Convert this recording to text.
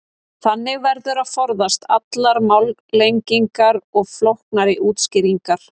þannig verður að forðast allar málalengingar og flóknari útskýringar